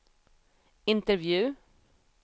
intervju